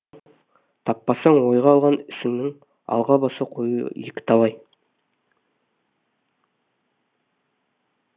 таппасаң ойға алған ісіңнің алға баса қоюы екіталай